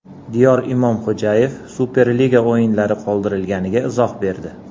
Diyor Imomxo‘jayev Superliga o‘yinlari qoldirilganiga izoh berdi.